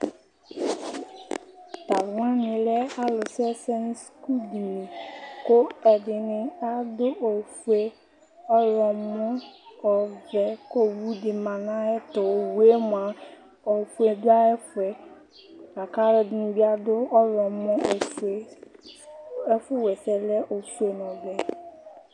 Talʋ wani lɛ alʋ sʋɛsɛ nʋ sukuduni, kʋ ɛdini adʋ ofue, ɔyɔmɔ, ɔvɛ kʋ owʋdi manʋ ayʋ ɛtʋ Owʋe mʋa ofue dʋ ayʋ ɛfʋɛ, lakʋ alʋɛdini bi adʋ ɔwlɔmɔ, ofue ɛfʋ, waɛsɛ lɛ ofue nʋ ɔvɛ